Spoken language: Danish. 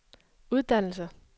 uddannelser